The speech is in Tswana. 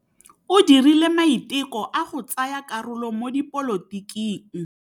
O dirile maitekô a go tsaya karolo mo dipolotiking.